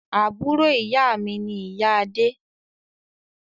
Àbúrò ìyá mi ni ìyá Adé